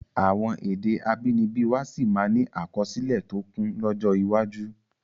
Àwọn èdè abínibí wá sí máa ni àkọsílẹ̀ tó kún lọ́jọ́ iwájú